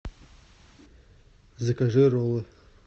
закажи роллы